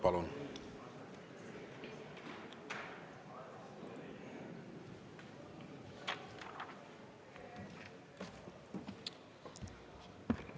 Palun!